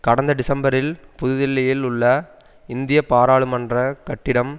கடந்த டிசம்பரில் புதுதில்லியில் உள்ள இந்திய பாராளுமன்ற கட்டிடம்